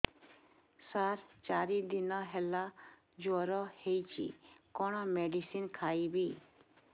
ସାର ଚାରି ଦିନ ହେଲା ଜ୍ଵର ହେଇଚି କଣ ମେଡିସିନ ଖାଇବି